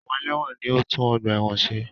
Àwọn ẹlẹ́wọ̀n ni ń tún ọgbà ẹ̀wọ̀n ṣe